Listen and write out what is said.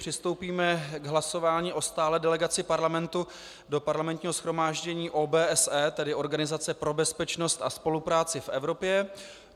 Přistoupíme k hlasování o stálé delegaci Parlamentu do Parlamentního shromáždění OBSE, tedy Organizace pro bezpečnost a spolupráci v Evropě.